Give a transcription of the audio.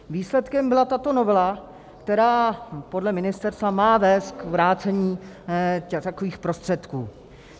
Výsledkem byla tato novela, která podle ministerstva má vést k vrácení takových prostředků.